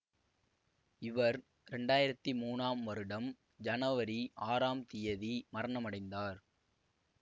இவர் இரண்டு ஆயிரத்தி மூனாம் வருடம் ஜனவரி ஆறாம் தியதி மரணமடைந்தார்